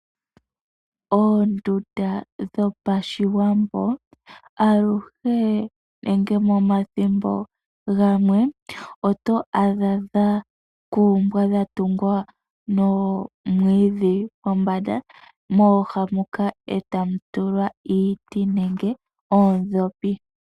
Oondunda dhopashiwambo, aluhe nege omathimbo ga mwe oto adha dha kumbwa nomwiidhi ee ta dhi tulwa iiti nenge oondhopi moluha.